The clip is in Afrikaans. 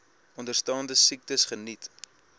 onderstaande siektes geniet